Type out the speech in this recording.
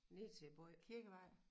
Ned til både Kirkevej